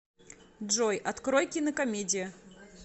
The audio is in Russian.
джой открой кинокомедия